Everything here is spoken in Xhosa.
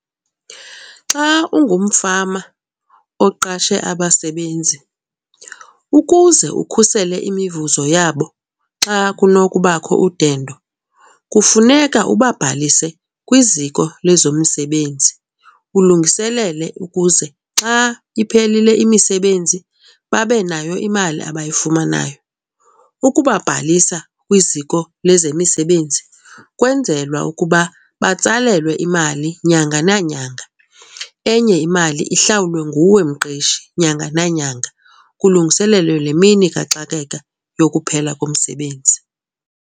Xa ungumfama oqashe abasebenzi, ukuze ukhusele imivuzo yabo xa kunokubakho udendo kufuneka ubabhalise kwiziko lezomsebenzi ulungiselele ukuze xa iphelile imisebenzi babe nayo imali abayifumanayo. Ukubabhalisa kwiziko lezemisebenzi kwenzelwa ukuba batsalelwe imali nyanga nanyanga enye imali ihlawulwe nguwe mqeshi nyanga nanyanga kulungiselelwe le mini kaxakeka yokuphela komsebenzi.